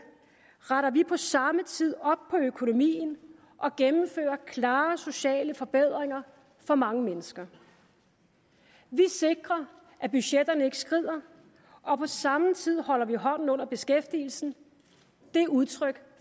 retter vi på samme tid op på økonomien og gennemfører klare sociale forbedringer for mange mennesker vi sikrer at budgetterne ikke skrider og på samme tid holder vi hånden under beskæftigelsen det er udtryk